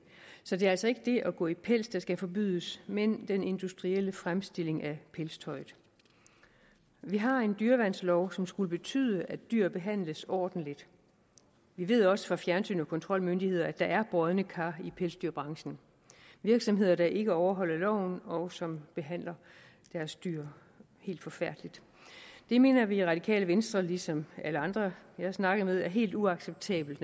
så det er altså ikke det at gå i pels der skal forbydes men den industrielle fremstilling af pelstøjet vi har en dyreværnslov som skulle betyde at dyr behandles ordentligt vi ved også fra fjernsyn og kontrolmyndigheder at der er brodne kar i pelsdyrbranchen virksomheder der ikke overholder loven og som behandler deres dyr helt forfærdeligt det mener vi i radikale venstre ligesom alle andre jeg har snakket med naturligvis er helt uacceptabelt